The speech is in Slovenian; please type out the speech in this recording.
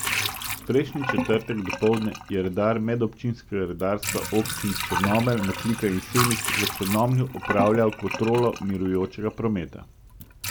Prejšnji četrtek dopoldne je redar medobčinskega redarstva občin Črnomelj, Metlika in Semič v Črnomlju opravljal kontrolo mirujočega prometa.